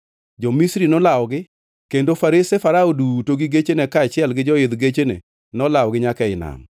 Jo-Misri nolawogi kendo farese Farao duto gi gechene kaachiel gi joidh gechene nolawogi nyaka ei nam.